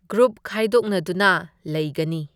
Group ꯈꯥꯏꯗꯣꯛꯅꯗꯨꯅ ꯂꯩꯒꯅꯤ꯫